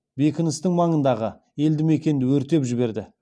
бекіністің маңындағы елді мекенді өртеп жіберді